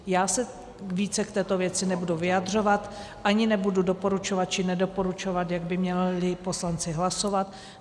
Já se více k této věci nebudu vyjadřovat, ani nebudu doporučovat či nedoporučovat, jak by měli poslanci hlasovat.